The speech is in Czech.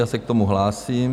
Já se k tomu hlásím.